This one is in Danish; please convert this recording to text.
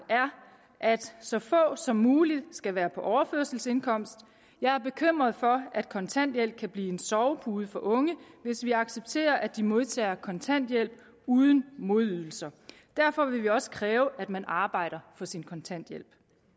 er at så få som muligt skal være på overførselsindkomst jeg er bekymret for at kontanthjælp kan blive en sovepude for unge hvis vi accepterer at de modtager kontanthjælp uden modydelser derfor vil vi også kræve at man arbejder for sin kontanthjælp